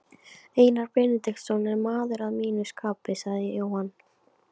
Einar Benediktsson er maður að mínu skapi, sagði Jóhann.